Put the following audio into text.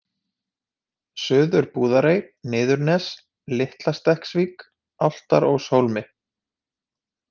Suður-Búðarey, Niðurnes, Litlastekksvík, Álftáróshólmi